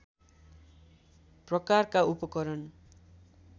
प्रकारका उपकरण